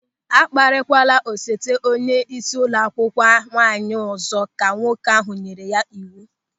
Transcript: "A kparịkwala osote onyeisi ụlọ akwụkwọ nwaanyị ọzọ," ka nwoke ahụ nyere ya n'iwu.